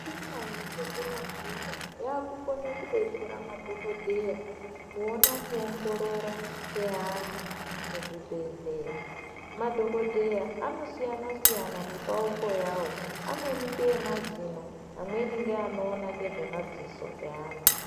Michina yechizvino zvino yakukona kudetsera madhokodheya Kuona kuongorora kweantu muzvibhedhlera madhokodheya anosiyana siyana nepauko yawo amweni nemazino amweni ndiwo anoona ngezvemadziso evantu.